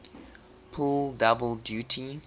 pull double duty